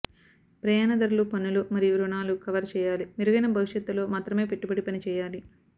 ప్రయాణ ధరలు పన్నులు మరియు రుణాలు కవర్ చేయాలి మెరుగైన భవిష్యత్ లో మాత్రమే పెట్టుబడి పని చేయాలి